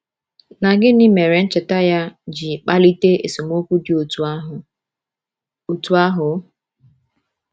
Na gịnị mere ncheta ya ji kpalite esemokwu dị otú ahụ? otú ahụ?